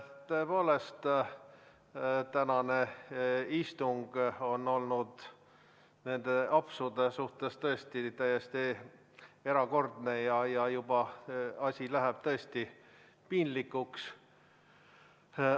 Tõepoolest, tänane istung on olnud nende apsude poolest täiesti erakordne ja asi läheb juba tõesti piinlikuks.